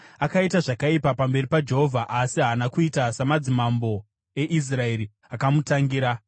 Akaita zvakaipa pamberi paJehovha, asi haana kuita samadzimambo eIsraeri akamutangira.